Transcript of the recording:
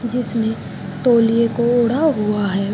जिसने तौलिये को ओढ़ा हुआ है।